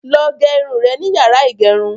Lọ gẹ irun rẹ nínu yàrá ìgẹrun.